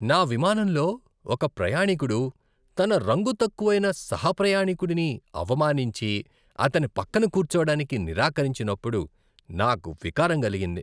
నా విమానంలో ఒక ప్రయాణీకుడు తన రంగు తక్కువైన సహ ప్రయాణీకుడిని అవమానించి, అతని పక్కన కూర్చోవడానికి నిరాకరించిన్నప్పుడు నాకు వికారం కలిగింది.